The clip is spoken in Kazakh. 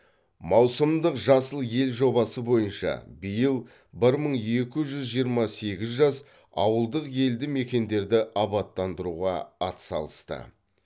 маусымдық жасыл ел жобасы бойынша биыл бір мың екі жүз жиырма сегіз жас ауылдық елді мекендерді абаттандыруға атсалысты